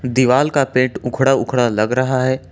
दीवाल का पेंट उखड़ा उखड़ा लग रहा है।